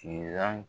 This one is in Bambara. Siran